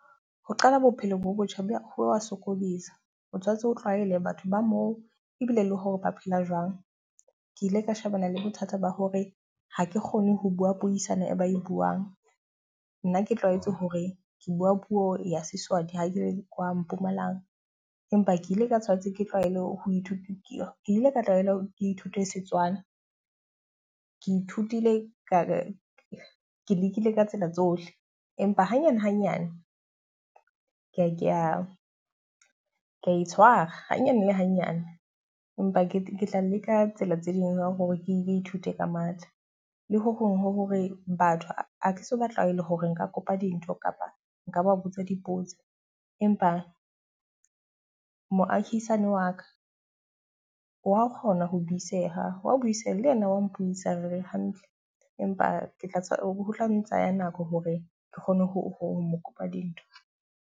Ho qala bophelo bo botjha ba ho wa sokudisa. O tshwantse o tlwaele batho ba moo ebile le hore ba phela jwang. Ke ile ka shebana le bothata ba hore ha ke kgone ho bua puisano e ba e buang, nna ke tlwaetse hore ke bua puo ya Seswati ha ke kwa Mpumalang. Empa ke ile ka tshwanetse ke tlwaele ho ithuta ke ke ile ka tlwaelo ke ithute Setswana. Ke ithutile ka ke lekile ka tsela tsohle. Empa hanyane hanyane ke a ke a ke a itshwara hanyane le hanyane. Empa ke tla leka tsela tse ding hore ke ithute ka matha, le ho hong ho hore batho ha ke so batlwaele hore nka kopa dintho kapa nka ba botsa dipotso. Empa moahisani wa ka wa kgona ho buiseha, wa buiseha le yena wa mpuisa re hantle. Empa ke tla tswa ho tla ntsha ya nako hore ke kgone ho ho mo kopa dintho.